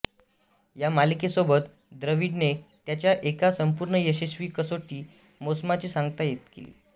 या मालिकेसोबत द्रविडने त्याच्या एका संपूर्ण यशस्वी कसोटी मोसमाची सांगता केली